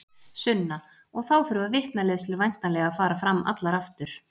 Sunna: Og þá þurfa vitnaleiðslur væntanlega að fara fram allar aftur?